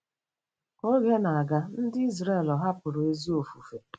Ka oge na-aga, ndị Izrel hapụrụ ezi ofufe.